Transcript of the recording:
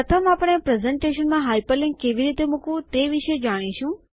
પ્રથમ આપણે પ્રસ્તુતિકરણમાં હાઇપરલિન્ક કેવી રીતે મુકવું તે વિશે જાણીશું